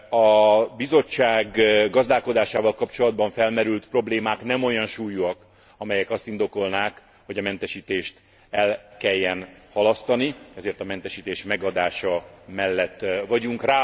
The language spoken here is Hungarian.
A Bizottság gazdálkodásával kapcsolatban felmerült problémák nem olyan súlyúak, amelyek azt indokolnák, hogy a mentesítést el kelljen halasztani, ezért a mentesítés megadása mellett vagyunk.